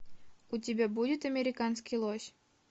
у тебя будет американский лось